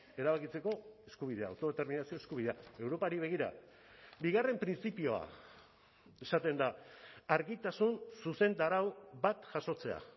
erabakitzeko eskubidea autodeterminazio eskubidea europari begira bigarren printzipioa esaten da argitasun zuzentarau bat jasotzea